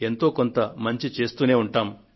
ఎంతో కొంత మంచి చేస్తూనే ఉంటాము